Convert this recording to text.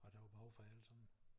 Og der var behov for jer alle sammen?